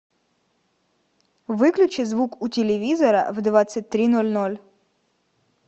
выключи звук у телевизора в двадцать три ноль ноль